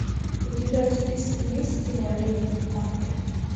у тебя в списке есть кино леди макбет